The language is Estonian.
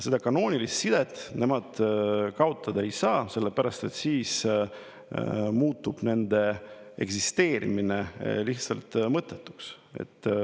Seda kanoonilist sidet nad kaotada ei saa, sest siis muutuks nende eksisteerimine lihtsalt mõttetuks.